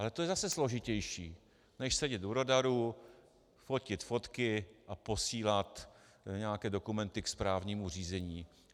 Ale to je zase složitější než sedět u radaru, fotit fotky a posílat nějaké dokumenty ke správnímu řízení.